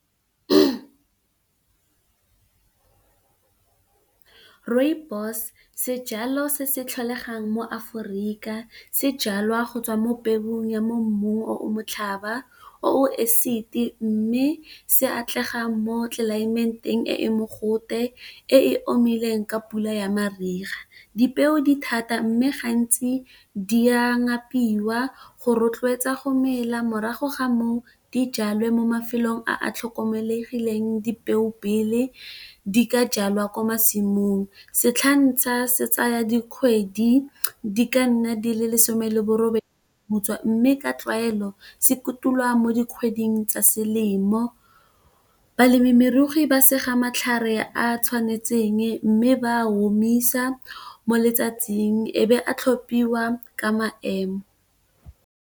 Rooibos, sejalo se se tlholegang mo Aforika se jalwa go tswa mo peong ya mo mmung o motlhaba, o esiti. Mme se atlega mo tlelaementeng e e mogote e omileng ka pula ya mariga, dipeo di thata, mme gantsi di a ngapiwa go rotloetsa go mela, morago ga moo di jalwa mo mafelong a tlhokomelegileng dipeo pele di ka jalwa kwa masimong. Setlhatshana se tsaya dikgwedi di ka nna di le lesome le borobedi go butswa mme ka tlwaelo se kotulwa mo dikgweding tsa selemo, balemirui ba sega matlhare a tshwanetseng mme, ba a omisa mo letsatsing e be a tlhophiwa ka maemo.